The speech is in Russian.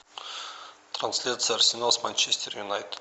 трансляция арсенал с манчестер юнайтед